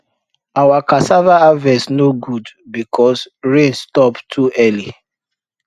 our cassava harvest no good because rain stop too early